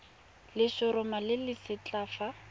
letshoroma le le setlha fa